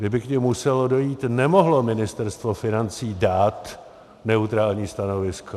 Kdyby k nim muselo dojít, nemohlo Ministerstvo financí dát neutrální stanovisko.